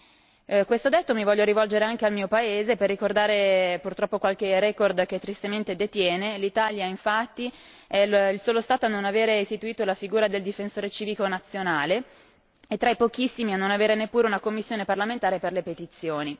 In questo senso mi voglio anche rivolgere anche al mio paese per ricordare purtroppo qualche record che tristemente detiene l'Italia infatti è il solo Stato a non aver istituito la figura del Difensore civico nazionale, è tra i pochissimi a non avere neppure una commissione parlamentare per le petizioni.